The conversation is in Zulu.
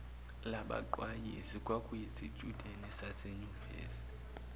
labaqwayizi kwakuyizitshudeni zasenyuvesi